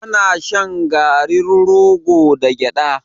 Ana shan garin rogo da gyaɗa.